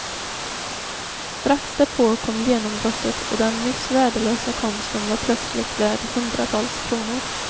Strax därpå kom genombrottet och den nyss värdelösa konsten var plötsligt värd hundratals kronor.